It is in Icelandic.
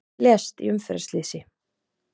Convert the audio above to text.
Lést í umferðarslysi